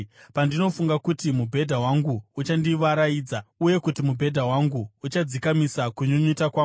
Pandinofunga kuti mubhedha wangu uchandivaraidza, uye kuti mubhedha wangu uchadzikamisa kunyunyuta kwangu,